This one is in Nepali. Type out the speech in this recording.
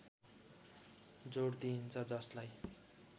जोड दिइन्छ जसलाई